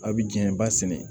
A bɛ jiɲɛ ba sɛnɛ